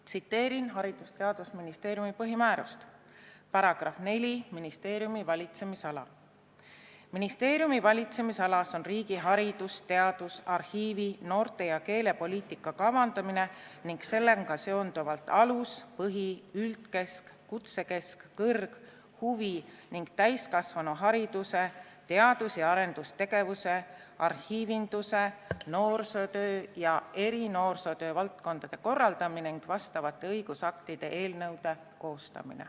Tsiteerin Haridus- ja Teadusministeeriumi põhimääruse § 4 "Ministeeriumi valitsemisala": "Ministeeriumi valitsemisalas on riigi haridus-, teadus-, arhiivi-, noorte- ja keelepoliitika kavandamine ning sellega seonduvalt alus-, põhi-, üldkesk-, kutsekesk-, kõrg-, huvi- ning täiskasvanuhariduse, teadus- ja arendustegevuse, arhiivinduse, noorsootöö ja erinoorsootöö valdkondade korraldamine ning vastavate õigusaktide eelnõude koostamine.